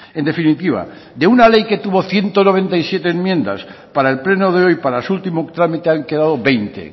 en definitiva de una ley que tuvo ciento noventa y siete enmiendas para el pleno de hoy para su último trámite han quedado veinte